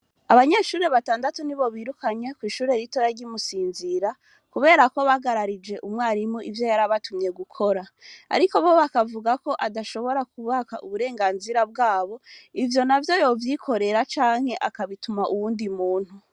Abanyeshuri batandatu ni bo birukanye kw'ishuri ritora ry'imusinzira, kubera ko bagararije umwarimu ivyo yar abatumye gukora, ariko bo bakavuga ko adashobora kubaka uburenganzira bwabo ivyo na vyo yovyikorera canke akabituma uwundi muntu.